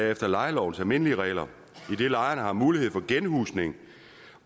efter lejelovens almindelige regler idet lejerne har mulighed for genhusning